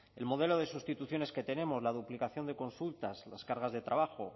el modelo de sustituciones que tenemos la duplicación de consultas las cargas de trabajo